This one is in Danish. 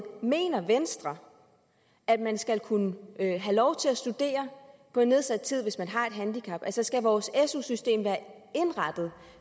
mener venstre at man skal kunne have lov til at studere på nedsat tid hvis man har et handicap altså skal vores su system være indrettet